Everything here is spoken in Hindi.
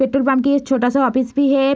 पेट्रोल पंप की एक छोटा सा ऑफिस भी है।